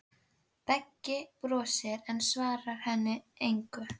Beggi brosir, en svarar henni engu.